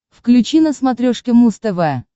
включи на смотрешке муз тв